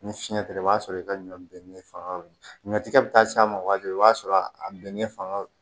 Ni fiɲɛ tigɛla i b'a sɔrɔ i ka ɲɔ bɛn fanga bɛ ɲɔtigɛ bɛ taa s'a ma waati min i b'a sɔrɔ a bɛɛ ɲɛ fanga